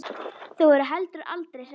Þau voru heldur aldrei hrædd.